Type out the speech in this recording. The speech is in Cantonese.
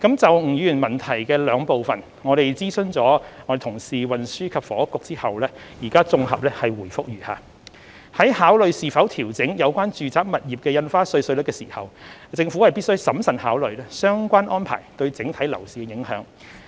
就吳議員質詢的兩部分，經諮詢運輸及房屋局後，現綜合答覆如下：在考慮是否調整有關住宅物業的印花稅稅率時，政府必須審慎考慮相關安排對整體樓市的影響。